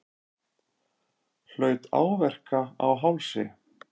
Hlaut áverka á hálsi